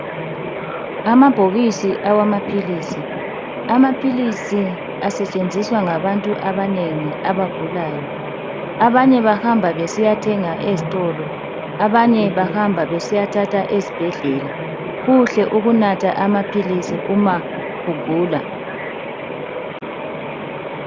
Amabhokisi awamaphilisi, amaphilisi asetshenziswa ngabantu abanengi abagulayo. Abanye bahamba besiyathenga ezitolo, abanye bahamba besiyathatha ezibhedlela. Kuhle ukunatha amaphilisi uma ugula.